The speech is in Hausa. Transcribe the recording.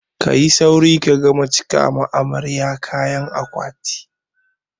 Ka yi sauri ka gama cika wa amaryar ka kayan akwati!